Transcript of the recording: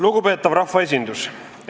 Lugupeetav rahvaesindus!